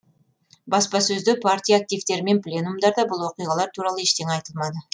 баспасөзде партия активтері мен пленумдарда бұл оқиғалар туралы ештеңе айтылмады